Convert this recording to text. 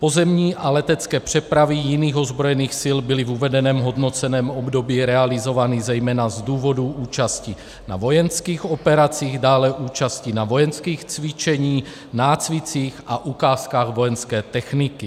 Pozemní a letecké přepravy jiných ozbrojených sil byly v uvedeném hodnoceném období realizovány zejména z důvodů účasti na vojenských operacích, dále účasti na vojenských cvičeních, nácvicích a ukázkách vojenské techniky.